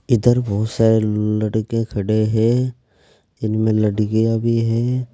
इधर बहुत सारे लड़के खड़े हैं इनमें लड़कियां भी है।